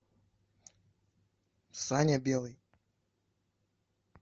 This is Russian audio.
саня белый